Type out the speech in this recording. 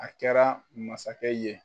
A kɛra masakɛ ye